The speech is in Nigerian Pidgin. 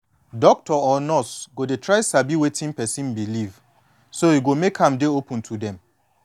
doctor or nurse go de try sabi wetin person believe so e go make am dey open to dem